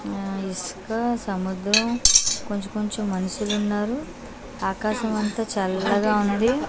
ఆ ఇసుక సముద్రం కొంచెం కొంచెం మనుషులున్నారు ఆకాశం అంతా చల్లగా ఉంది.